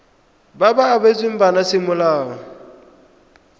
ba ba abetsweng bana semolao